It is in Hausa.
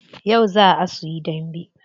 Yau zaa su yi dambe.